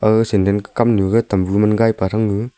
gaga sandal ka kam nyu ga tambu man gaipa thang ngu.